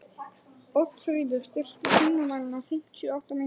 Oddfríður, stilltu tímamælinn á fimmtíu og átta mínútur.